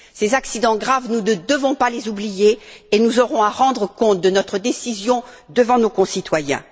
Ces accidents graves, nous ne devons pas les oublier et nous aurons à rendre compte de notre décision devant nos concitoyens.